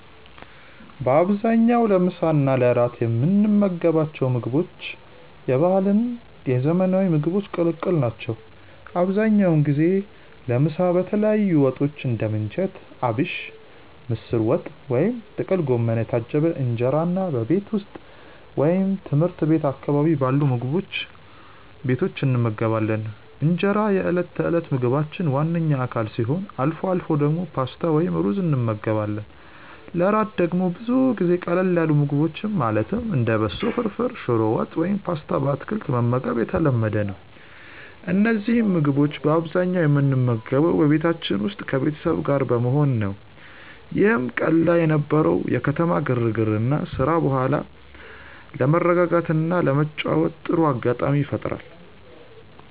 በአብዛኛው ለምሳ እና ለእራት የምንመገባቸው ምግቦች የባህልና የዘመናዊ ምግቦች ቅልቅል ናቸው። አብዛኛውን ጊዜ ለምሳ በተለያዩ ወጦች (እንደ ምንቸት አቢሽ፣ ምስር ወጥ ወይም ጥቅል ጎመን) የታጀበ እንጀራን በቤት ውስጥ ወይም ትምህርት ቤት አካባቢ ባሉ ምግብ ቤቶች እንመገባለን። እንጀራ የዕለት ተዕለት ምግባችን ዋነኛ አካል ሲሆን፣ አልፎ አልፎ ደግሞ ፓስታ ወይም ሩዝ እንመገባለን። ለእራት ደግሞ ብዙ ጊዜ ቀለል ያሉ ምግቦችን ማለትም እንደ በሶ ፍርፍር፣ ሽሮ ወጥ ወይም ፓስታ በአትክልት መመገብ የተለመደ ነው። እነዚህን ምግቦች በአብዛኛው የምንመገበው በቤታችን ውስጥ ከቤተሰብ ጋር በመሆን ነው፤ ይህም ቀን ላይ ከነበረው የከተማ ግርግርና ስራ በኋላ ለመረጋጋትና ለመጨዋወት ጥሩ አጋጣሚ ይፈጥራል።